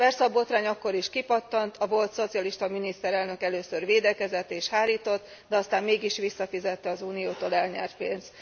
Persze a botrány akkor is kipattant, a volt szocialista miniszterelnök először védekezett és hárított, de aztán mégis visszafizette az Uniótól elnyert pénzt.